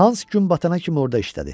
Hans gün batana kimi orada işlədi.